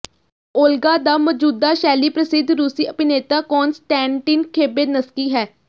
Olga ਦਾ ਮੌਜੂਦਾ ਸ਼ੈਲੀ ਪ੍ਰਸਿੱਧ ਰੂਸੀ ਅਭਿਨੇਤਾ ਕੋਨਸਟੈਂਟੀਨ ਖੈਬੇਨਸਕੀ ਹੈ